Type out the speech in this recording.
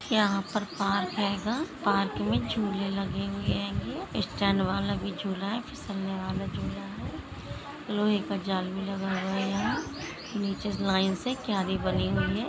यहाँ पर पार्क है गा पार्क में झूले लगे हुए है स्टैंड वाला भी झूला है फिसलने वाला झूला है लोहे का जाल भी लगा हुआ है यहां निचे से लाइन से क्यारी बनी हुई है।